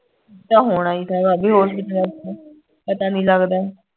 ਤਾਂ ਹੋਣਾ ਹੀ ਥਾ ਭਾਭੀ ਹੋਸਪੀਟਲਾਂ ਚ ਪਤਾ ਨੀ ਲਗਦਾ